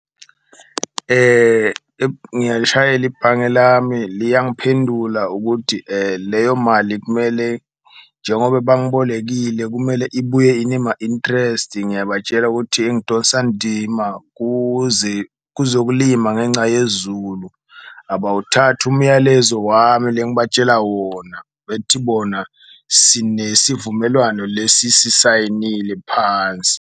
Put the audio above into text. Ngiyalishayela ibhange lami liyangiphendula ukuthi leyo mali kumele, njengoba bangibolekile kumele ibuye inema-interest, ngiyabatshela ukuthi ngidosa ndima kuzokulima ngenca yezulu. Abawuthathi umyalezo wami lengibatshela wona bethi bona sinesivumelwano lesi sisayinile phansi.